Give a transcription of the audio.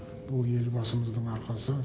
бұл елбасымыздың арқасы